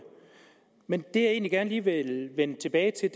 men det jeg egentlig gerne lige vil vende tilbage til